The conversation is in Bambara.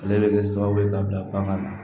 Ale bɛ kɛ sababu ye ka bila bagan na